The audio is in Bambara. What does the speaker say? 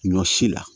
Ɲɔ si la